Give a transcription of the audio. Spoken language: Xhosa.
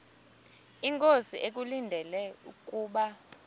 inkosi ekulindele kubo